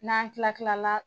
N'an kila kila la